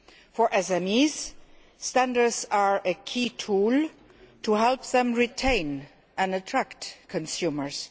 For SMEs, standards are a key tool to help them retain and attract consumers.